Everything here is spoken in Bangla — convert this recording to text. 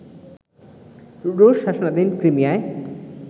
রুশ শাসনাধীন ক্রিমিয়ায়